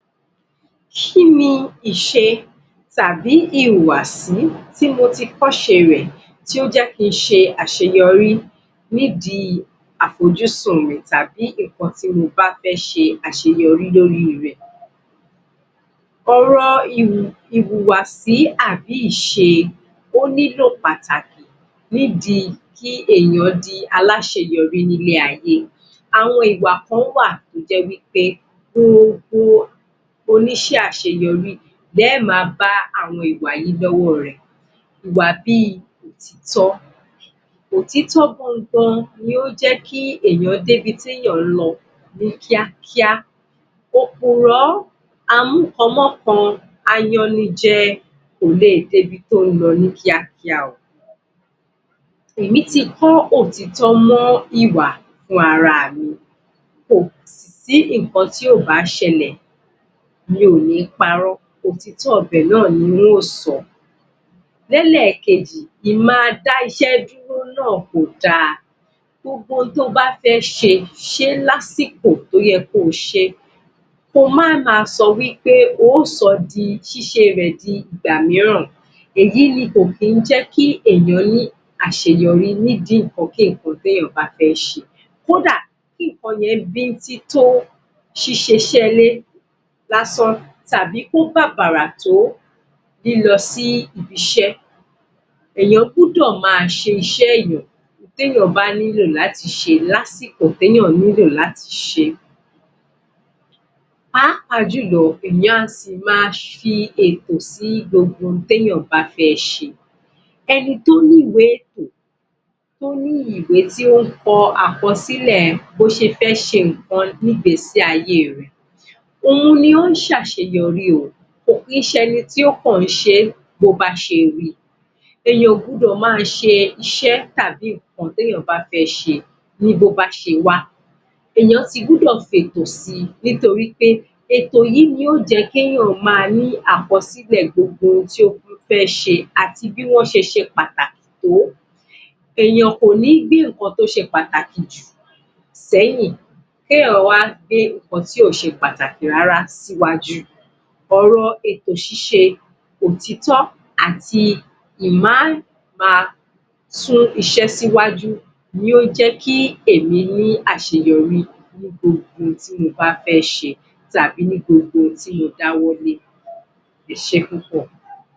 Kí ni ìṣe tàbí ìhùwàsí tí mo ti kọ́ ṣe rẹ̀ tí ó jẹ́ kí n ṣe àṣeyọrí, ní di afójúsùn rẹ̀ tàbí ǹnkan tí mo bá fẹ́ ṣe àṣeyọrí lórí rẹ̀. Àwọn, ìhùwàsí àbí ìṣe wọ́n nílò pàtàkì, ní di kí èèyàn di aláṣeyọrí ní ilé-ayé àwọn ìgbà kan wà tó jẹ́ wí pé o ní ṣẹ́ àṣeyọrí lẹ ó máa bá àwọn ìwà yìí lọ́wọ́ rẹ̀ ìwà bíi òtítọ́ òtítọ́ gangan ni yóò jẹ́ kí èèyàn débi tó ń lọ ní kíákíá. òpùrọ́ a mú kan m'ọ́kan, ayannijẹ, kò lè dé ibi tó ń lọ kíákíá. Èmí ti kọ́ òtítọ́ mọ́ ìwà fún ara mi, kò sì sí ǹnkan tí ó bá ṣẹlẹ̀ mi ò ní parọ́ òtítọ́ bẹ́ẹ̀ náà ni n ó sọ. L'ẹ́lẹ̀kejì, ìdá-iṣẹ́-dúró náà kò da, gbogbo ohun to bá fé ṣe, ṣe é lásìkọ̀ tó yẹ kó o ṣe é. ko máa sọ wí pé, ó sọ ṣíṣe rẹ̀ di ìgbà mìíràn èyí ni kò kí ń jẹ́ kí èèyàn ní àṣeyorí nídi ǹnkan kí ǹnkan tí èèyàn bá fẹ́ ṣe kódà kí ǹnkan yẹ́n bíntín tó ṣíṣe iṣẹ́ ilé lásán tàbí kó bàbàrà tó lílọ sí ibiṣẹ́, Èèyàn gbọ́dọ̀ máa ṣe iṣẹ́ èèyàn tẹ́yàn bá nílò láti ṣe ní àsìkò tí ó nílò láti ṣe páàpáà jùlọ, èèyàn á si máa fi ètò sí ǹnkan tí èèyàn bá fẹ́ ṣe ẹni tó ní ìwé ètò, tó ní ìwé tó ń kọ àkọsílẹ̀ bó ṣe fẹ́ ṣe ǹnkan ní ìgbésí-ayé rẹ̀, òun ni ó ń ṣe àṣeyọrí o, kò kì ń ṣe ẹni tó kàn ń ṣe bó bá ṣe ri èèyàn ò gbọ́dọ̀ máa ṣe iṣẹ́ tàbí ǹnkan tí èèyàn bá fẹ́ ṣe ní bó bá ṣe wá èèyàn ti gbọ́dọ̀ fi ètò si, ètò yìí ni yóò jẹ́ kí èèyàn máa ní àkọsílẹ̀ gbogbo ohun tí ó fẹ́ se àti bí wọ́n ṣe ṣe pàtàkì tó. èèyàn kò ní gbé ǹnkan tó ṣe pàtàkì jù sẹ́yìn. k'éyàn wá gbé ohun tí ò ṣe pàtàkì rárá síwájú. Ọ̀rọ̀ ètò ṣíṣe òtítọ́ àti àìmà sún iṣẹ́ síwájú ni ó jẹ́ kí èmi ní àṣeyọrí ní gbogbo ohun tí mo bá fẹ́ ṣe. tàbí ní gbogbo ohun tí mo dáwọ́lé. Ẹ ṣẹ́ púpọ̀.